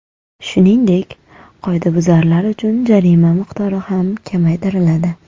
Shuningdek, qoidabuzarlar uchun jarima miqdori ham kamaytiriladi.